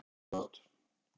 Það er ekki gott